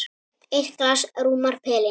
Eitt glas rúmar pelinn.